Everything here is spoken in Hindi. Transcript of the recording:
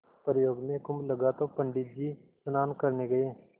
प्रयाग में कुम्भ लगा तो पंडित जी भी स्नान करने गये